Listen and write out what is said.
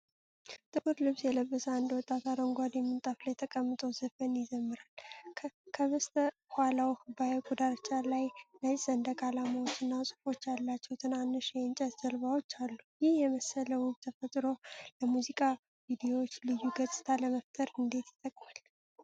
ጥቁር ልብስ የለበሰ አንድ ወጣት አረንጓዴ ምንጣፍ ላይ ተቀምጦ ዘፈን ይዘምራል። ከበስተኋላው በሐይቁ ዳርቻ ላይ፣ ነጭ ሰንደቅ ዓላማዎችና ጽሑፎች ያላቸው ትናንሽ የእንጨት ጀልባዎች አሉ። ይህን የመሰለ ውብ ተፈጥሮ ለሙዚቃ ቪዲዮዎች ልዩ ገጽታ ለመፍጠር እንዴት ይጠቅማል?